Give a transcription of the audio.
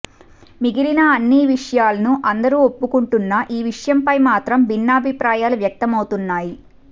మిగిలిన అన్ని విషయలను అందరూ ఒప్పుకుంటున్నా ఈ విషయం పై మాత్రం భిన్నాభిప్రాయాలు వ్యక్తమవుతున్నాయి